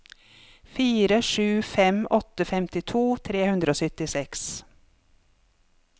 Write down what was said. fire sju fem åtte femtito tre hundre og syttiseks